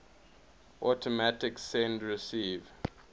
automatic send receive